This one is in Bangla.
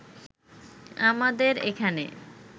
আমাদের এখানে